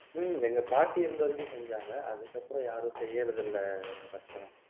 உம் எங்க பாட்டி இருந்த வரைக்கும் செஞ்சாங்க அதுக்கப்புறம் யாரும் செய்யறதில்லை ரட்சனா